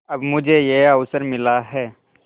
अब मुझे यह अवसर मिला है